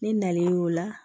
Ni nalen y'o la